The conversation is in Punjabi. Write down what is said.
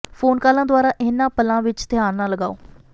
ਫੋਨ ਕਾਲਾਂ ਦੁਆਰਾ ਇਨ੍ਹਾਂ ਪਲਾਂ ਵਿੱਚ ਧਿਆਨ ਨਾ ਲਗਾਓ